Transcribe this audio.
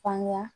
Fanga